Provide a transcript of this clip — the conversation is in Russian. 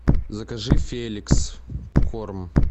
закажи феликс корм